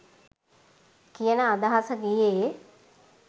කියන අදහස ගියේ